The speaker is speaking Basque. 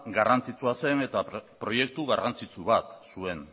garrantzitsua zen eta proiektu garrantzitsu bat zuen